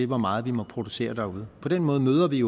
hvor meget vi må producere derude på den måde møder vi